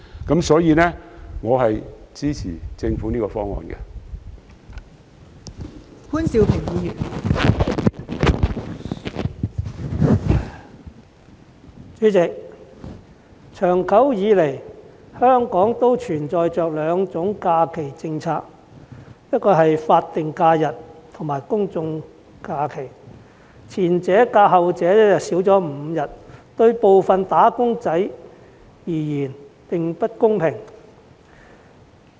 代理主席，香港長久以來都存在着兩種假期政策，即法定假日和公眾假期，而前者較後者少5天，對部分"打工仔"而言並不公平。